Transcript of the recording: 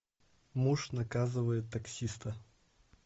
муж наказывает таксиста